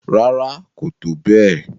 Rárá, kò tó bẹ́ẹ̀